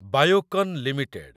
Biocon limited